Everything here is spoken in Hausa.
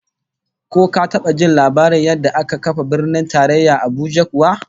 Ko ka taba jin labarin yadda aka kafa Birnin Tarayya Abuja kuwa?